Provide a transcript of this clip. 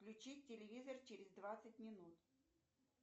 включить телевизор через двадцать минут